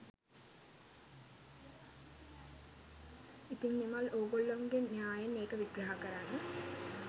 ඉතිං නිමල් ඕගොල්ලන්ගේ න්‍යායෙන් ඒක විග්‍රහ කරන්න